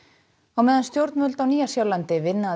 á meðan stjórnvöld á Nýja Sjálandi vinna að